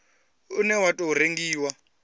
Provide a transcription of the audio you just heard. une wa u tou rengiwa